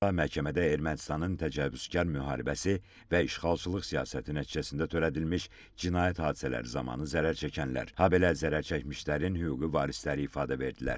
məhkəmədə Ermənistanın təcavüzkar müharibəsi və işğalçılıq siyasəti nəticəsində törədilmiş cinayət hadisələri zamanı zərər çəkənlər, habelə zərər çəkmişlərin hüquqi varisləri ifadə verdilər.